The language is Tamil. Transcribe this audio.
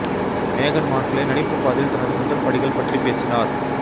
மேகன் மார்க்லே நடிப்பு பாதையில் தனது முதல் படிகள் பற்றி பேசினார்